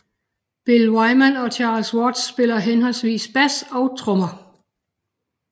Bill Wyman og Charlie Watts spillede henholdsvis bass og trommer